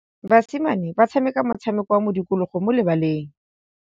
Basimane ba tshameka motshameko wa modikologô mo lebaleng.